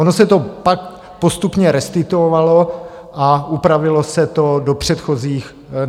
Ono se to pak postupně restituovalo a upravilo se to na předchozí úroveň.